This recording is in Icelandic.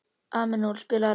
Emanúela, spilaðu lag.